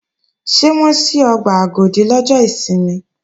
Ṣé wọ́n ṣí ọgbà Agodi lọ́jọ́ ìsinmi?